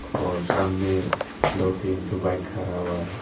और सामने दो तीन ठो बाइक खड़ा हुआ है।